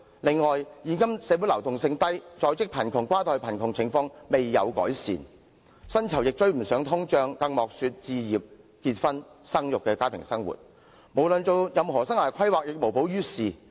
此外，現今社會流動性低，在職貧窮、跨代貧窮的情況也未見得到改善，薪酬追不上通脹，更莫說實行置業、結婚、生育等家庭計劃，根本所有生涯規劃也無補於事。